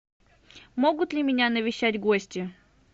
могут ли меня навещать гости